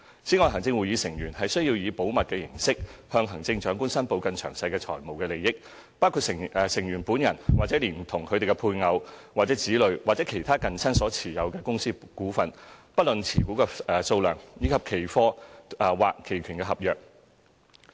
此外，行政會議成員須以保密形式向行政長官申報更詳細的財務利益，包括成員本人或連同配偶或子女或其他近親所持有的公司股份，以及期貨或期權合約。